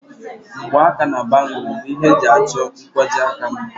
Mgbaaka na bangùlu bụ ihe eji achọ nkwajiaka mma